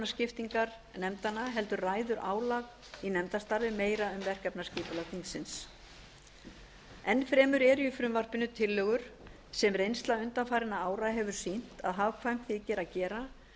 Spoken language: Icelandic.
og málefnaskiptingar nefndanna heldur ræður álag í nefndastarfi meira um verkefnaskipulag þingsins enn fremur eru í frumvarpinu tillögur sem reynsla undanfarinna ára hefur sýnt að hagkvæmt þyki að gera